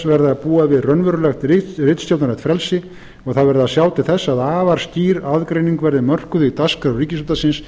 að búa við raunverulegt ritstjórnarlegt frelsi og það verði að sjá til þess að afar skýr aðgreining verði mörkuð í dagskrá ríkisútvarpsins